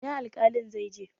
Ina alƙalin zai je?